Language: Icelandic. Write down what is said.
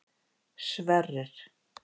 Sverrir